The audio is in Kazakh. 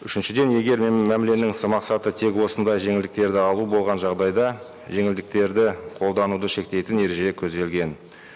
үшіншіден егер мәміленің мақсаты тек осындай жеңілдіктерді алу болған жағдайда жеңілдіктерді қолдануды шектейтін ереже көзделген